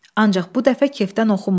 Ancaq bu dəfə kefdən oxumurdu.